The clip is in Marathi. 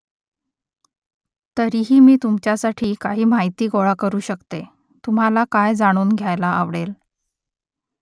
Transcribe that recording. तरीही मी तुमच्यासाठी काही माहिती गोळा करू शकते . तुम्हाला काय जाणून घ्यायला आवडेल ?